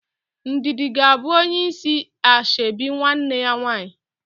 Ndidi ga abụ onye isi ashebi nwanne ya nwaanyị